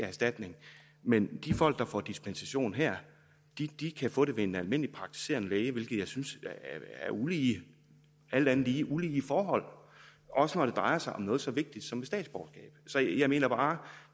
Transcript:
erstatning men de folk der får dispensation her kan få det ved en almindelig praktiserende læge hvilke jeg synes er ulige et alt andet lige ulige forhold også når det drejer sig om noget så vigtigt som et statsborgerskab så jeg mener bare